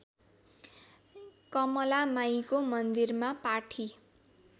कमलामाईको मन्दिरमा पाठी